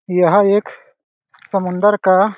यह एख समुंदर का --